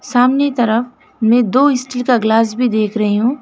सामने तरफ में दो स्टील का गिलास भी देख रही हूँ।